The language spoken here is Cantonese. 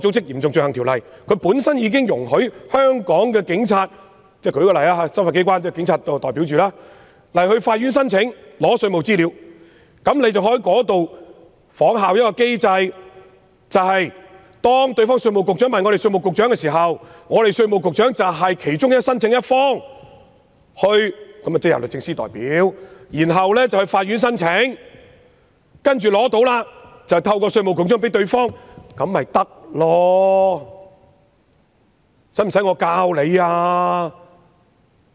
由於該等條例已容許執法機關——我且以香港警察為例——向法院申請索取稅務資料，當局可以仿效該機制，當對方稅務局向本港稅務局局長查詢時，本港稅務局局長即為申請一方，由律政司代表向法院提出申請，待取得資料後，便經稅務局局長向對方提供，這便可以了。